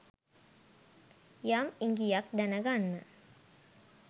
යම් ඉඟියක් දැන ගන්න